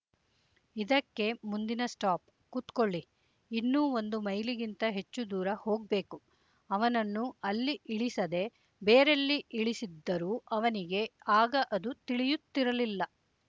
ಇದಕ್ಕೆ ಮುಂದಿನ ಸ್ಟಾಪ್ ಕೂತ್ಕೊಳ್ಳಿ ಇನ್ನೂ ಒಂದು ಮೈಲಿಗಿಂತ ಹೆಚ್ಚು ದೂರ ಹೋಗ್ಬೇಕು ಅವನನ್ನು ಅಲ್ಲಿ ಇಳಿಸದೆ ಬೇರೆಲ್ಲಿ ಇಳಿಸಿದ್ದರೂ ಅವನಿಗೆ ಆಗ ಅದು ತಿಳಿಯುತ್ತಿರಲಿಲ್ಲ